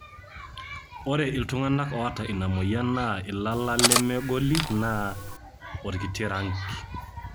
ore iltunganak oota ina moyian naa ilala leme goli neeta orkiti ranki